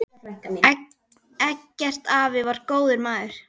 Eggert afi var góður maður.